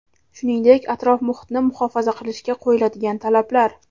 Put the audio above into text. shuningdek atrof muhitni muhofaza qilishga qo‘yiladigan talablar.